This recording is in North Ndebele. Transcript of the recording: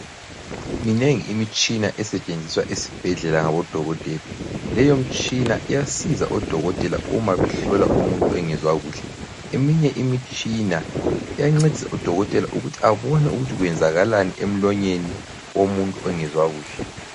Minengi imitshina esetshenziswa esibhedlela ngodokotela. Leyomitshina iyasiza odokotela uma behlola umuntu engezwa kuhle. Eminye imitshina iyancedisa odokotela ukuthi abone ukuthi kwenzakalani emlonyeni womuntu ongezwa kuhle.